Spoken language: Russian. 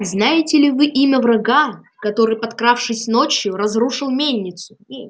знаете ли вы имя врага который подкравшись ночью разрушил мельницу